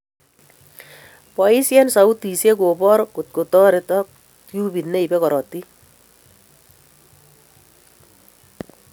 Boisien sautisiek kobor kotkoterot tubit neibe korotik